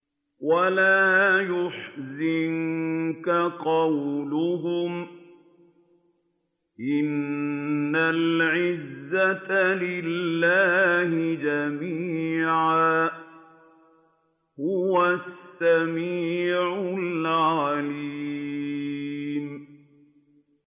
وَلَا يَحْزُنكَ قَوْلُهُمْ ۘ إِنَّ الْعِزَّةَ لِلَّهِ جَمِيعًا ۚ هُوَ السَّمِيعُ الْعَلِيمُ